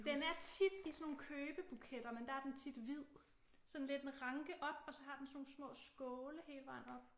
Den er tit i sådan nogle købebuketter men der er den tit hvid sådan lidt en ranke op og så har den sådan nogle små skåle hele vejen op